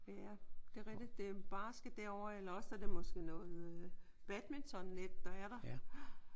Ja det er rigtigt. Det er basket derovre eller også er det måske noget badmintonnet der er der